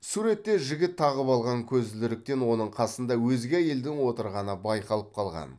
суретте жігіт тағып алған көзілдіріктен оның қасында өзге әйелдің отырғаны байқалып қалған